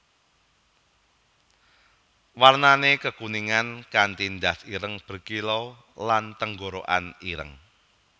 Warnané kekuningan kanti ndas ireng berkilau lan tenggorokan ireng